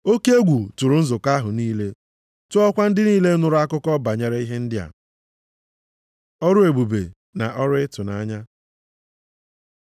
Oke egwu tụrụ nzukọ ahụ niile, tụọkwa ndị niile nụrụ akụkọ banyere ihe ndị a. Ọrụ ebube na ọrụ ịtụnanya